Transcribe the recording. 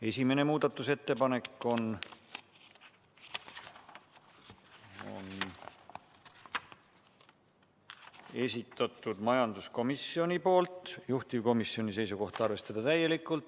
Esimene muudatusettepanek on majanduskomisjoni esitatud, juhtivkomisjoni seisukoht: arvestada täielikult.